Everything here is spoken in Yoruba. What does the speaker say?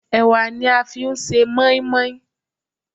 Ẹ̀wà ni a fi ń ṣe mọ́ínmọ́ín.